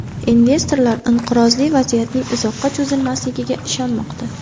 Investorlar inqirozli vaziyatning uzoqqa cho‘zilmasligiga ishonmoqda.